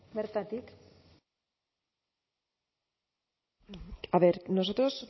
bertatik a ver nosotros